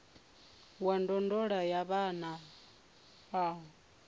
wa ndondolo ya vhana a